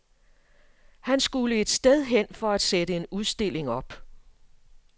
Han skulle et sted hen for at sætte en udstilling op.